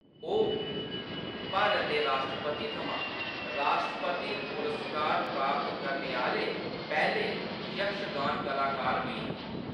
ओह्‌‌ भारत दे राश्ट्रपति थमां राश्ट्रपति पुरस्कार प्राप्त करने आह्‌‌‌ले पैह्‌‌‌ले यक्षगान कलाकार बी न।